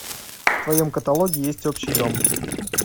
в твоем каталоге есть общий дом